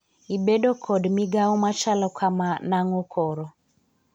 ibedo kod migawo machalo kama nang'o koro?